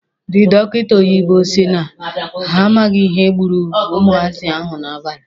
Ndị dọkịta oyibo si na ha amaghị ihe gburu ụmụazị ahụ n'abalị.